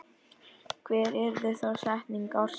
Hver yrði þá setning ársins?